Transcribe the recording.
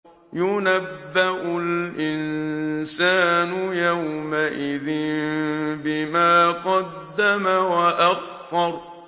يُنَبَّأُ الْإِنسَانُ يَوْمَئِذٍ بِمَا قَدَّمَ وَأَخَّرَ